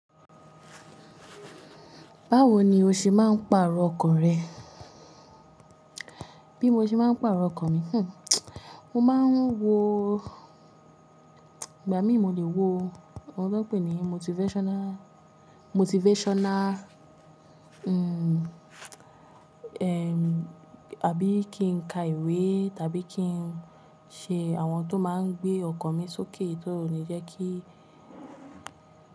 Báwo ni o ṣe máa ń pàrọ̀ ọkan rẹ? Bí mo ṣe máa ń pàrọ̀ ọkan mi? Hhm, mo máa ń wo ìgbà mí mo lè wo, nkan tọ pé ní motivational, motivational, hmm, ehm, àbí kín ka ìwé tàbí kín ṣe àwọn tó máa ń gbé ọkan mi sókè, tí ó le jẹ́ kí.